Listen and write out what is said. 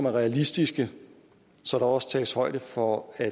realistiske så der også tages højde for at